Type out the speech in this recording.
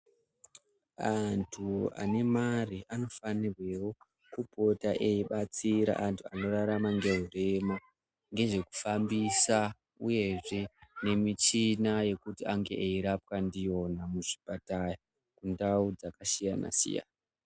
Antu anemare anofanirwewo kupota eibatsira antu anorarama ngeurema ngezvekufambisa uyehe ngezvemichina yekuti ange achirapwa ndiyona muzvipatara, mundau dzakasiyana-siyana.